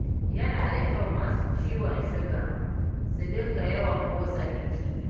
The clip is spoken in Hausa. Yana da kyau masu ciwon suga su dinga yawan motsa jiki